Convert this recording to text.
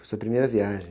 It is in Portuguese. Foi sua primeira viagem?